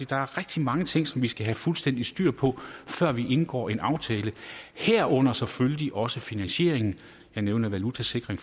der er rigtig mange ting som vi skal have fuldstændig styr på før vi indgår en aftale herunder selvfølgelig også finansieringen jeg nævnede valutasikring